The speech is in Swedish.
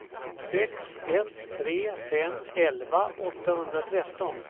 sex ett tre fem elva åttahundratretton